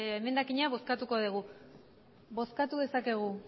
emendakina bozkatuko dugu bozkatu dezakegu